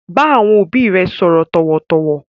Bá àwọn òbí rẹ sọ̀rọ̀ tọ̀wọ̀tọ̀wọ̀!